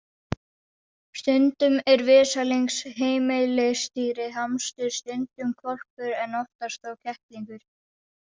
Stundum er vesalings heimilisdýrið hamstur, stundum hvolpur en oftast þó kettlingur.